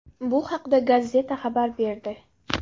Bu haqda Gazzetta xabar berdi .